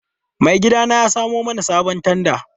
Maigidana ya samo mana sabon tanda.